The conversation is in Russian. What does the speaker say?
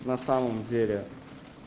на самом деле